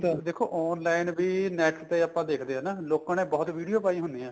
ਦੇਖੋ online ਵੀ NET ਤੇ ਆਪਾਂ ਦੇਖਦੇ ਆ ਨਾ ਲੋਕਾਂ ਨੇ ਬਹੁਤ video ਪਾਈ ਹੁੰਨੀਆਂ